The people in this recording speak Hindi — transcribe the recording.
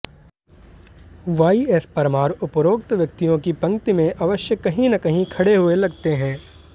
वाईएस परमार उपरोक्त व्यक्तियों की पंक्ति में अवश्य कहीं न कहीं खड़े हुए लगते हैं